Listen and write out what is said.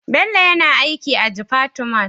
Bello yana aiki a jifatu Mall